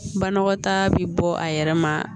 Banakɔtaa bɛ bɔ a yɛrɛ ma